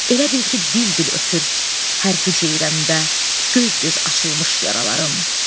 Elə bil ki, dil-dil ötür hər hüceyrəmdə göz-göz açılmış yaralarım.